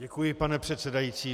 Děkuji, pane předsedající.